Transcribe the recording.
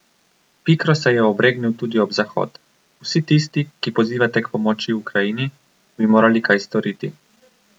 Pikro se je obregnil tudi ob Zahod: 'Vsi tisti, ki pozivate k pomoči Ukrajini, bi morali kaj storiti.